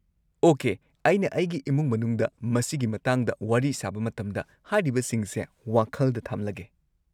Okay, ꯑꯩꯅ ꯑꯩꯒꯤ ꯏꯃꯨꯡ ꯃꯅꯨꯡꯗ ꯃꯁꯤꯒꯤ ꯃꯇꯥꯡꯗ ꯋꯥꯔꯤ ꯁꯥꯕ ꯃꯇꯝꯗ ꯍꯥꯏꯔꯤꯕꯁꯤꯡꯁꯦ ꯋꯥꯈꯜꯗ ꯊꯝꯂꯒꯦ꯫